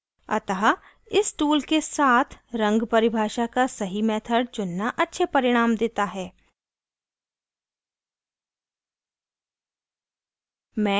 अतः इस tool के साथ रंग परिभाषा का सही method चुनना अच्छे परिणाम देता है